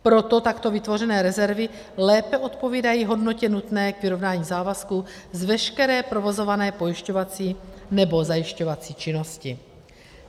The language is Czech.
Proto takto vytvořené rezervy lépe odpovídají hodnotě nutné k vyrovnání závazků z veškeré provozované pojišťovací nebo zajišťovací činnosti.